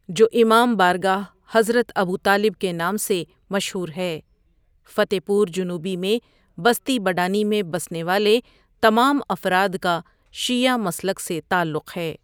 جوامام بارگاہ حضرت ابوطالب ؑکے نام سے مشہو رہے فتع پورجنوبی میں بستی بڈانی میں بسنے والے تمام افراد کا شیعہ مسلک سے تعلق ہے۔